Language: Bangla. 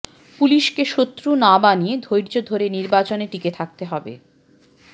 পুলিশকে শত্রু না বানিয়ে ধৈর্য ধরে নির্বাচনে টিকে থাকতে হবে